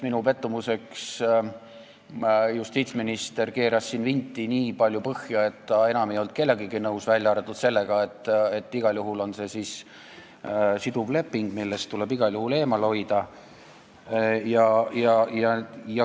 Minu pettumuseks keeras justiitsminister siin vinti nii palju põhja, et ta ei olnud enam millegagi nõus, välja arvatud sellega, et see on siduv leping, millest tuleb igal juhul eemale hoida.